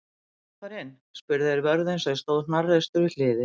Megum við fara inn? spurðu þeir vörðinn sem stóð hnarreistur við hliðið.